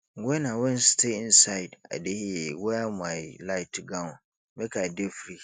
wen i wan stay inside i dey wear my light gown make i dey free